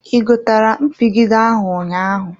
I gotere mpigide ahụ ụnyaahụ?